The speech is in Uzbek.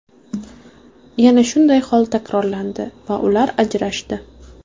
Yana shunday hol takrorlandi va ular ajrashdi.